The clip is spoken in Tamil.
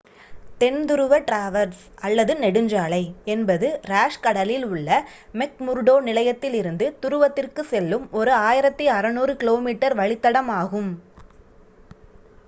தென் துருவ டிராவர்ஸ் அல்லது நெடுஞ்சாலை என்பது ராஸ் கடலில் உள்ள மெக்முர்டோ நிலையத்திலிருந்து துருவத்திற்கு செல்லும் ஒரு 1600 கி.மீ வழித்தடம் ஆகும்